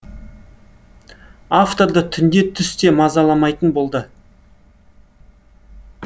авторды түнде түс те мазаламайтын болды